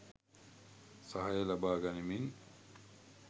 සහාය ලබා ගනිමින්,